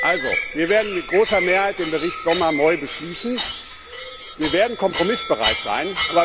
Also Wir werden mit großer Mehrheit den Bericht Sommer Moi beschließen, wir werden kompromissbereit sein.